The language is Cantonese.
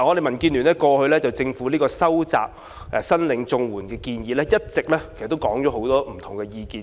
民建聯過去就政府收窄申領長者綜援資格的建議，一直提出了很多不同的意見。